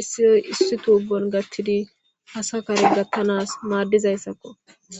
issi botappe tubon gelthidi asa kare gathanas madizaysako.